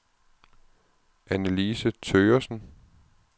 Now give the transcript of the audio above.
Annelise Thøgersen